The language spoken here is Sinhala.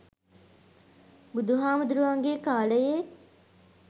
බුදුහාමුදුරුවන්ගේ කාලයේත්